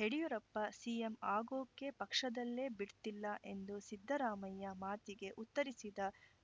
Yediyurappa CM ಆಗೋಕೆ ಪಕ್ಷದಲ್ಲೇ ಬಿಡ್ತಿಲ್ಲ ಎಂದ ಸಿದ್ದರಾಮಯ್ಯ ಮಾತಿಗೆ ಉತ್ತರಿಸಿದ